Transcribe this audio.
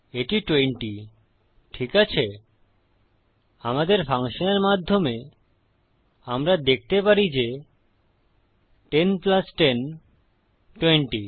এটি 20 ঠিক আছেআমাদের ফাংশনের মাধ্যমে আমরা দেখতে পারি যে 10 10 20